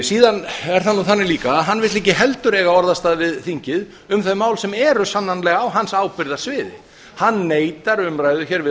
síðan er það nú þannig líka að hann vill ekki heldur eiga orðastað við þingið um þau mál sem eru sannanlega á hans ábyrgðarsviði hann neitar umræðu hér við